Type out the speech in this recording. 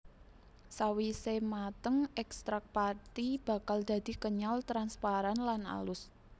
Sawise mateng ekstrak pati bakal dadi kenyal transparan lan alus